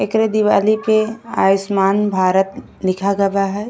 एकरे दिवाली पे आयुष्मान भारत लिखा गवा है।